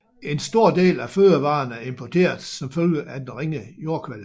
En stor del af fødevarerne er importeret som følge af den ringe jordkvalitet